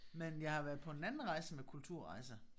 Men jeg har været på en anden rejse med Kulturrejser